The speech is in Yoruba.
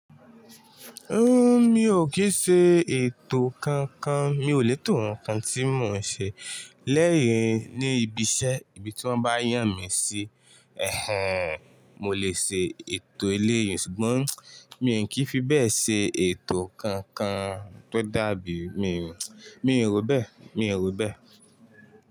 O mi ò kì í ṣe ètò kankan, mi ò lè tò ohun kan tí mò ń ṣe lẹ́yìn ní ibi iṣẹ́. Ibi tí wọ́n bá yàn mi sí ẹ̀hẹ̀n, mo lè ṣe ètò eléyìn ṣùgbọ́n mi ò kí fi bẹ́ẹ̀ ṣe ètò kankan tó dàbí mi, mi ò rò bẹ́ẹ̀, mi ò rò bẹ́ẹ̀.